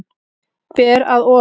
Ber að ofan.